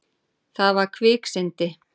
Þetta var kviksyndi.